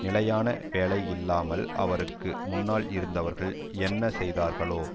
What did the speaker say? நிலையான வேலை இல்லாமல் அவருக்கு முன்னால் இருந்தவர்கள் என்ன செய்தார்களோ